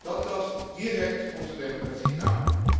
gehad. Dat tast direct onze democratie